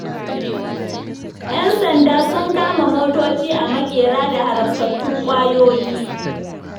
Yan sanda sun kama motoci a maƙera da haramtattun kwayoyi.